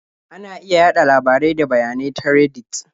Ana iya yaɗa labarai da bayanai ta Reddit.